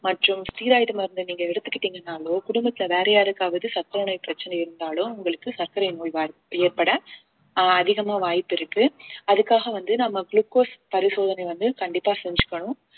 மற்றும் ஸ்டிராய்டு மருந்தை நீங்க எடுத்துக்கிட்டீங்கன்னாலோ குடும்பத்தில வேற யாருக்காவது சர்க்கரை நோய் பிரச்சனை இருந்தாலோ உங்களுக்கு சர்க்கரை நோய் வாய்~ ஏற்பட அஹ் அதிகமா வாய்ப்பிருக்கு அதுக்காக வந்து நம்ம குளுக்கோஸ் பரிசோதனை வந்து கண்டிப்பா செஞ்சுக்கணும்